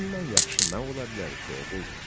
Bundan yaxşı nə ola bilər ki, oğul?